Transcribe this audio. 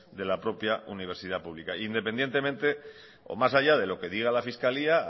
de la propia universidad pública independientemente o más allá de lo que diga la fiscalía